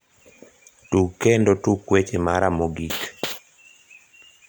tug kendo tuk weche mara mogik